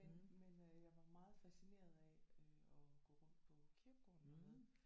Men men øh jeg var meget fascineret af øh at gå rundt på kirkegården dernede